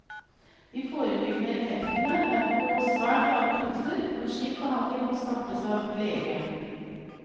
De forebyggende effektene er på svært lave doser, og slik behandling må startes av lege.